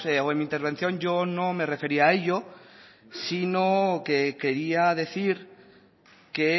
o en mi intervención yo no me refería a ello sino que quería decir que